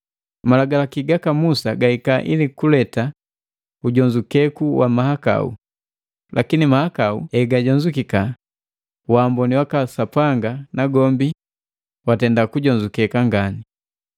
Malagalaki gaka Musa gahika ili kuleta ujonzukeku wa mahakau, lakini mahakau hegajonzukika, waamboni waka Sapanga nagombi watenda kujonzukeka ngani.